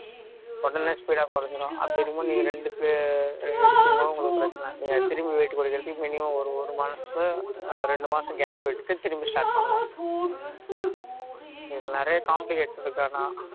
உடனே speed ஆ குறைஞ்சிடும் அப்படி இருக்கும் பொது நீங்க ரெண்டுக்கு எடுத்துக்கும் போது உங்களுக்கு பிரச்சனை அது திரும்பியும் weight குறைக்குறதுக்கு minimum weight ஒரு மாசம் ரெண்டு மாசம் gap விட்டுட்டு திரும்பி start பண்ணணும் இதுல நிறைய complicate இருக்கு ஆனா